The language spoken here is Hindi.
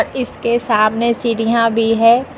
इसके सामने सीढ़ियां भी है।